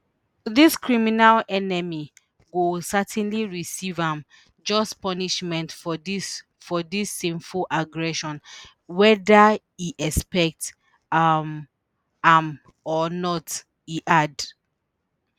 dis criminal enemy go certainly receive im just punishment for dis for dis sinful aggression weda e expect um am or not e add